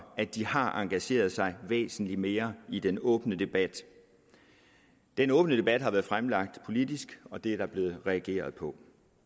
at de har engageret sig væsentlig mere i den åbne debat den åbne debat har været fremlagt politisk og det er der blevet reageret på